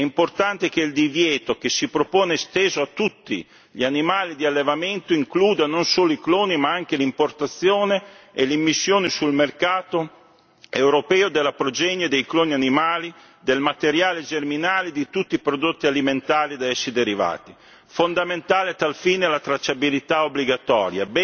È importante che il divieto che si propone sia esteso a tutti gli animali di allevamento, includa non solo i cloni, ma anche l'importazione e l'immissione sul mercato europeo della progenie dei coloni animali, del materiale germinale di tutti i prodotti alimentari da essi derivati. Fondamentale a tal fine è la tracciabilità obbligatoria.